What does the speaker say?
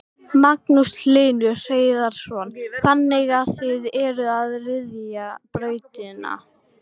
Magnús Hlynur Hreiðarsson: Þannig að þið eruð að ryðja brautina?